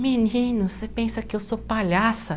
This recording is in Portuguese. Menino, você pensa que eu sou palhaça?